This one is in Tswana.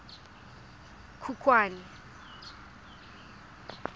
khukhwane